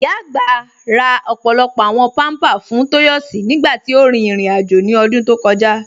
Ìyá agbá rà ọ́pọ̀lọ́pọ̀ àwọn pampa fún Toyosi nígbàtí ó rí irin-àjọ̀ ní ọdún tó kọ̀jà.